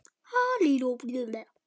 Takk, pabbi, fyrir öll knúsin.